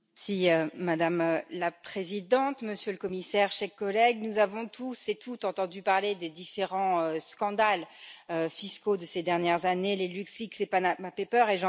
Madame la Présidente, Monsieur le Commissaire, chers collègues, nous avons toutes et tous entendu parler des différents scandales fiscaux de ces dernières années les LuxLeaks, les Panama Papers, et j'en passe.